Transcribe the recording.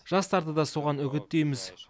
жастарды да соған үгіттейміз